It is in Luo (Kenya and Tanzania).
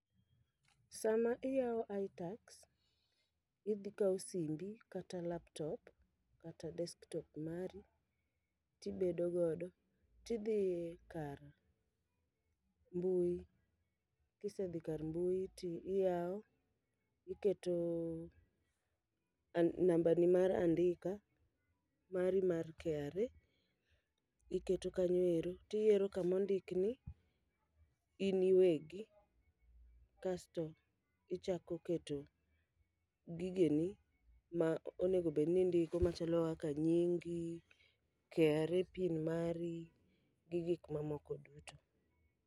Sama iyawo iTax, idhi kaw simbi kata laptop kata desktop mari tibedo godo tidhi e kar mbui. Kisedhi kar mbui ti iyawo, iketo a namba ni mar andika mari mar KRA, iketo kanyoero. Tiyiero kamo ndikni in iwegi, kasto ichako keto gigeni ma onegobedni indiko machalo kaka nyingi, KRA pin mari, gi gik mamoko duto.